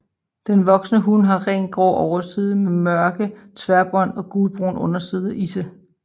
Den voksne hun har rent grå overside med mørke tværbånd og gulbrun underside og isse